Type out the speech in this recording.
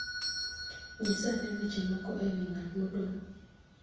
Nyisa ane weche moko e wi ng'at modong'